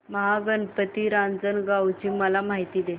महागणपती रांजणगाव ची मला माहिती दे